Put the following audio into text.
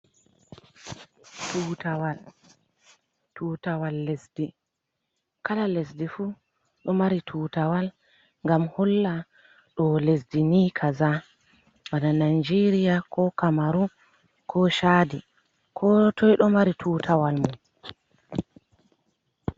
Tutawal, tutawal lesdi, kala lesdi fuu ɗo mari tutawal ngam holla ɗo lesdi ni kaza bana Najeriya, ko Kamaru, ko Chaadi. Ko toi ɗo mari tutawal mum.